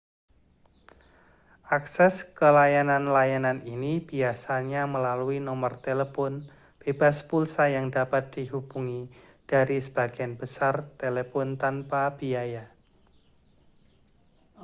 akses ke layanan-layanan ini biasanya melalui nomor telepon bebas pulsa yang dapat dihubungi dari sebagian besar telepon tanpa biaya